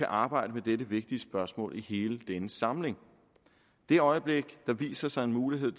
arbejde med dette vigtige spørgsmål i hele denne samling det øjeblik hvor der viser sig en mulighed